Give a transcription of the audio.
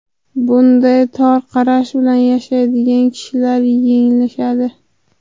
Bunday tor qarash bilan yashaydigan kishilar yanglishadi.